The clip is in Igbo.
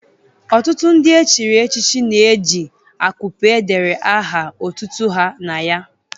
Ọtụtụ ndị echiri echichi na-eji akupe edere aha otutu ha na ya.